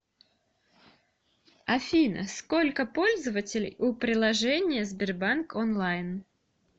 афина сколько пользователей у приложения сбербанк онлайн